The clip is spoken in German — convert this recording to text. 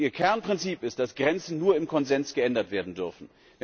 Und ihr Kernprinzip ist, dass Grenzen nur im Konsens geändert werden dürfen.